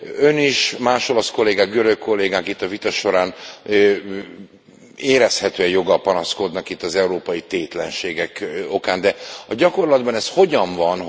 Ön és más olasz kollégák, görög kollégák itt a vita során érezhetően joggal panaszkodnak az európai tétlenségek okán, de a gyakorlatban ez hogyan van?